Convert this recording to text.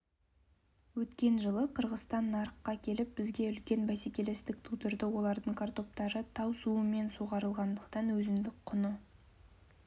өткен жылы қырғызстан нарыққа келіп бізге үлкен бәселестік тудырды олардың картоптары тау суымен суғарылғандықтан өзіндік құны